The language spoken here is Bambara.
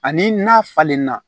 Ani n'a falenna